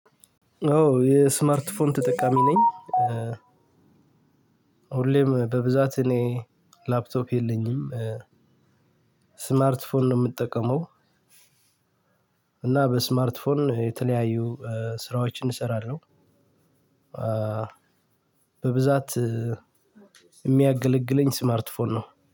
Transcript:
አዎ የስማርት ፎን ተጠቃሚ ነኝ። ሁሌም በብዛት እኔ ላፕቶፕ የለኝም። ስማርት ፎን ነው ምጠቀመው። እና በስማርት ፎን የተለያዩ ስራዎችን እሰራለሁ። በብዛት የሚያገለግለኝ ስማርት ፎን ነው